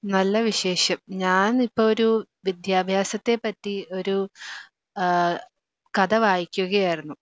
നല്ല വിശേഷം. ഞാനിപ്പോ ഒരു വിദ്യാഭ്യാസത്തെ പറ്റി ഒരു ആഹ് കഥ വായിക്കുകയായിരുന്നു.